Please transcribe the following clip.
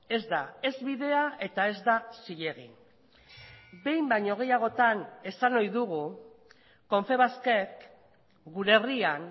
ez da ez bidea eta ez da zilegi behin baino gehiagotan esan ohi dugu confebaskek gure herrian